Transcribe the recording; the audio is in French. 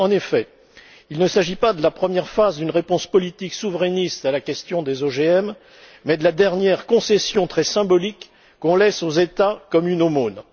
En effet, il ne s'agit pas de la première phase d'une réponse politique souverainiste à la question des OGM mais de la dernière concession très symbolique qu'on laisse aux États comme une aumône.